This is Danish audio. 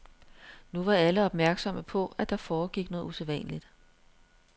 Nu var alle opmærksomme på, at der foregik noget usædvanligt.